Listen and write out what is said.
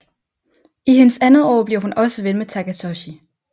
I hendes andet år bliver hun også ven med Takatoshi